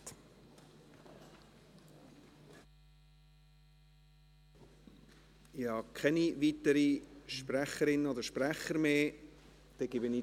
Ich habe keine weiteren Sprecherinnen oder Sprecher mehr auf der Liste.